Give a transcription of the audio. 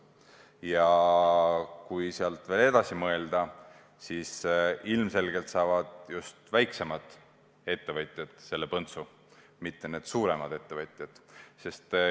Ja kui sealt veel edasi mõelda, siis ilmselgelt saavad selle põntsu just väiksemad ettevõtjad, mitte suuremad.